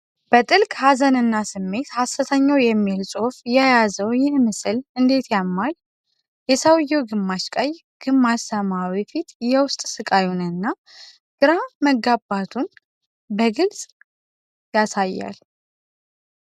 በጥልቅ ሀዘንና ስሜት"ሐስተኛው" የሚል ጽሑፍ የያዘው ይህ ምስል እንዴት ያማል! የሰውየው ግማሽ ቀይ፣ ግማሽ ሰማያዊ ፊት የውስጥ ስቃዩንና ግራ መጋባቱን በግልፅ ያሳያል!